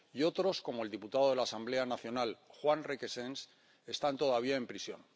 y otros, como el diputado de la Asamblea Nacional Juan Requesens, están todavía en prisión.